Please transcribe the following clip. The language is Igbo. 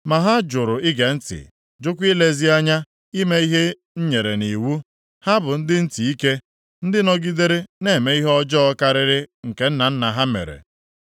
Ma ha jụrụ ige ntị, jụkwa ilezi anya ime ihe m nyere nʼiwu. Ha bụ ndị ntị ike, ndị nọgidere na-eme ihe ọjọọ karịrị nke nna nna ha mere.’